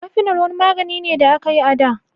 Kafinol wani magani ne da aka yi a da.